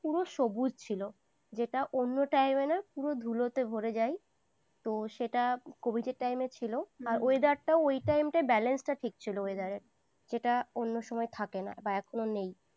পুরো সবুজ ছিল। যেটা অন্য time এ না পুরো ধুলোতে ভরে যায়। তো সেটা covid time এ ছিল, weather টাও ওই time টাটে balance টা ঠিক ছিল weather রের, যেটা অন্য সময় থাকে না বা এখনো নেই।